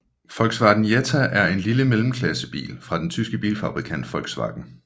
Volkswagen Jetta er en lille mellemklassebil fra den tyske bilfabrikant Volkswagen